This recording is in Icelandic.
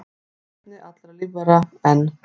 Erfðaefni allra lífvera, en